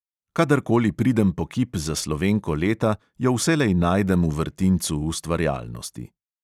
Kadar koli pridem po kip za slovenko leta, jo vselej najdem v vrtincu ustvarjalnosti.